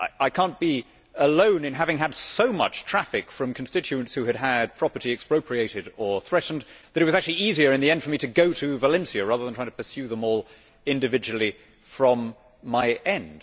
I cannot be alone in having had so much traffic from constituents who had had property expropriated or threatened. It was actually easier in the end for me to go to Valencia, rather than trying to pursue them all individually from my end.